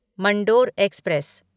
Mandore express